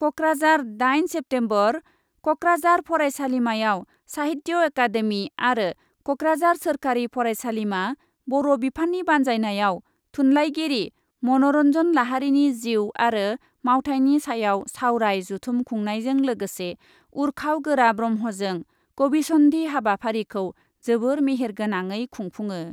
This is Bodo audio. कक्राझार, दाइन सेप्तेम्बर, कक्राझार फरायसालिमायाव साहित्य अकादेमि आरो कक्राझार सोरखारि फरायसालिमा, बर' बिफाननि बान्जायनायाव थुनलाइगिरि मन'रन्जन लाहारीनि जिउ आरो मावथाइनि सायाव सावराय जथुम खुंनायजों लोगोसे उर्खाव गोरा ब्रह्मजों कविसन्धी हाबाफारिखौ जोबोर मेहेर गोनाङै खुंफुङो।